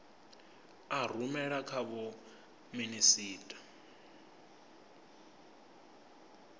a rumela kha vho minisita